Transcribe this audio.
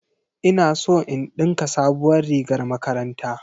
Ina so in ɗinka sabuwar rigar makaranta